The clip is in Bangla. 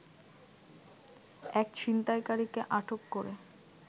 এক ছিনতাইকারীকে আটক করে